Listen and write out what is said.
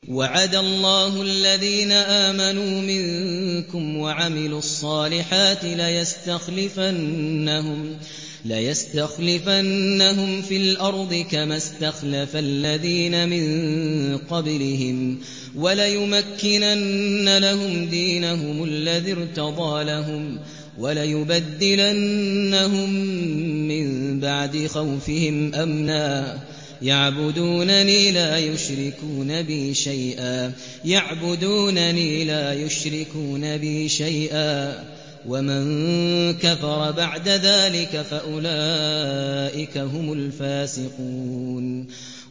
وَعَدَ اللَّهُ الَّذِينَ آمَنُوا مِنكُمْ وَعَمِلُوا الصَّالِحَاتِ لَيَسْتَخْلِفَنَّهُمْ فِي الْأَرْضِ كَمَا اسْتَخْلَفَ الَّذِينَ مِن قَبْلِهِمْ وَلَيُمَكِّنَنَّ لَهُمْ دِينَهُمُ الَّذِي ارْتَضَىٰ لَهُمْ وَلَيُبَدِّلَنَّهُم مِّن بَعْدِ خَوْفِهِمْ أَمْنًا ۚ يَعْبُدُونَنِي لَا يُشْرِكُونَ بِي شَيْئًا ۚ وَمَن كَفَرَ بَعْدَ ذَٰلِكَ فَأُولَٰئِكَ هُمُ الْفَاسِقُونَ